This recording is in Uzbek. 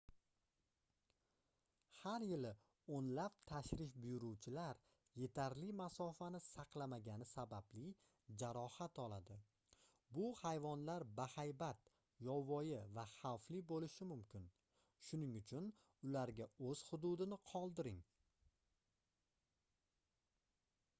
har yili oʻnlab tashrif buyuruvchilar yetarli masofani saqlamagani sababli jarohat oladi bu hayvonlar bahaybat yovvoyi va xavfli boʻlishi mumkin shuning uchun ularga oʻz hududini qoldiring